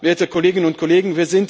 Werte Kolleginnen und Kollegen!